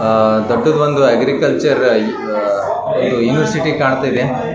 ಆಹ್ ದೊಡ್ಡುದ ಒಂದು ಅಗ್ರಿಕಲ್ಚರ್ ಆ ಯೂನಿವರ್ಸಿಟಿ ಕಾಣುತ ಇದೆ --